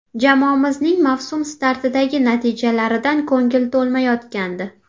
Jamoamizning mavsum startidagi natijalaridan ko‘ngil to‘lmayotgandi.